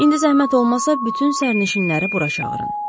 İndi zəhmət olmasa bütün sərnişinləri bura çağırın.